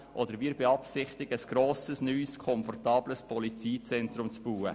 Oder wir beabsichtigen, ein neues, komfortables Polizeizentrum zu bauen.